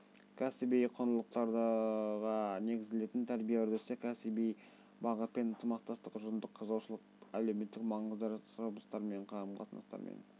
кәсіби құндылықтарға негізделетін тәрбие үрдісі кәсіби бағытпен ынтымақтастық ұжымдық қызығушылық әлеуметтік маңызды жұмыстармен қарым-қатынастармен